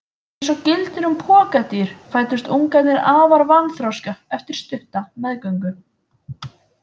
Eins og gildir um pokadýr fæddust ungarnir afar vanþroska eftir stutta meðgöngu.